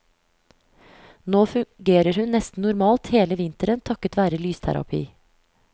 Nå fungerer hun nesten normalt hele vinteren takket være lysterapi.